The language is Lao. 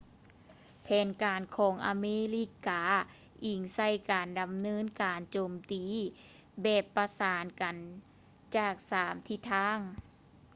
ແຜນການຂອງອາເມລິກາອິງໃສ່ການດຳເນີນການໂຈມຕີແບບປະສານກັນຈາກສາມທິດທາງ